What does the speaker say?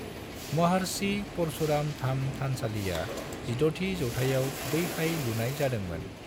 महार्षि परशुराम धाम थानसालिआ 16 थि जौथाइआव बैहाय लुनाइ जादोंमोन।